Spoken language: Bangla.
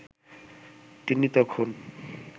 তিনি তখন